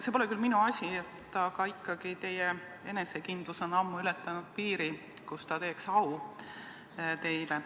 See pole küll minu asi, aga teie enesekindlus on ammu ületanud piiri, kus see teile au teeks.